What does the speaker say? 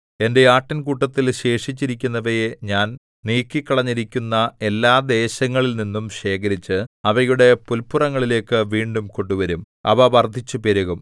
എന്റെ ആട്ടിൻകൂട്ടത്തിൽ ശേഷിച്ചിരിക്കുന്നവയെ ഞാൻ നീക്കിക്കളഞ്ഞിരിക്കുന്ന എല്ലാ ദേശങ്ങളിൽനിന്നും ശേഖരിച്ച് അവയുടെ പുല്പുറങ്ങളിലേക്ക് വീണ്ടും കൊണ്ടുവരും അവ വർദ്ധിച്ചു പെരുകും